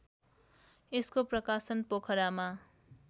यसको प्रकाशन पोखरामा